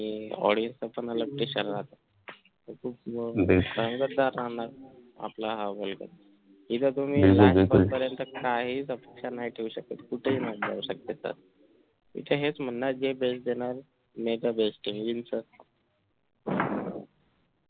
हिथं हेच म्हणणं आहे जे best देणार may the best win च